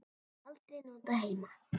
Aldrei notað heima.